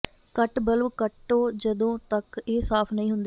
ਕੱਟ ਬਲਬ ਕੱਟੋ ਜਦੋਂ ਤਕ ਇਹ ਸਾਫ ਨਹੀਂ ਹੁੰਦੇ